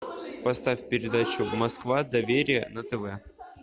поставь передачу москва доверие на тв